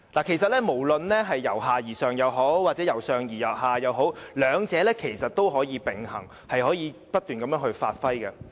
其實，不論是由下而上，或是由上而下也好，兩者也是可以並行，可以不斷發揮的。